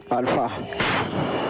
Alfa.